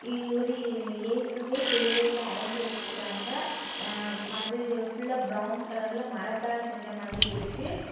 இ ஒரு ஏ இயேசுவே சிலுவையில் அறஞ்சு வச்சிருக்காங்க. அ அது ஃபுல்லா பிரவுன் கலர்ல மரத்தால் செஞ்ச மாதிரி இருக்கு.